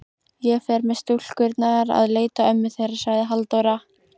Ég fer með stúlkurnar að leita ömmu þeirra, sagði Halldóra.